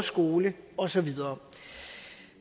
skole og så videre